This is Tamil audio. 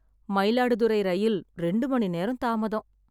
மயிலாடுதுறை ரயில் ரெண்டு மணி நேரம் தாமதம்